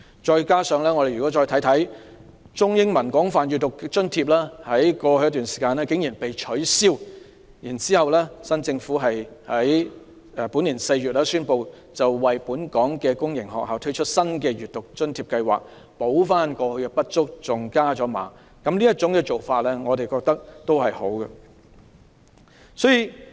再者，中、英文廣泛閱讀計劃津貼在過去一段時間竟然被取消，現屆政府在本年4月宣布為本港公營學校推出新的推廣閱讀津貼，彌補過去的不足，甚至把津貼加碼，這種做法也是好的。